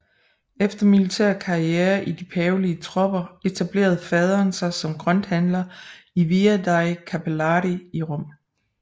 Efter militær karriere i de pavelige tropper etablerede faderen sig som grønthandler i Via dei Cappellari i Rom